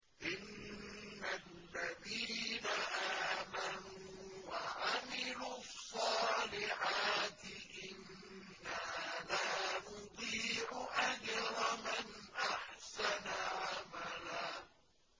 إِنَّ الَّذِينَ آمَنُوا وَعَمِلُوا الصَّالِحَاتِ إِنَّا لَا نُضِيعُ أَجْرَ مَنْ أَحْسَنَ عَمَلًا